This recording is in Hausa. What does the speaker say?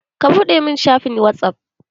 Ka buɗe mun shafin whatsaff!